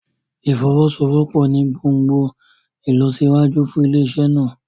Ìfọwọ́sowọ́pọ̀ ní gbòngbòn ìlọsíwájú fún ilé-iṣẹ́ náà.